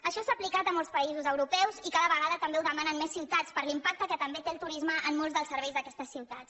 això s’ha aplicat a molts països europeus i cada vegada també ho demanen més ciutats per l’impacte que també té el turisme en molts dels serveis d’aquestes ciutats